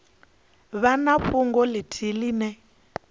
vha na fhungo ithihi ine